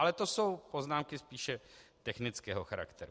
Ale to jsou poznámky spíše technického charakteru.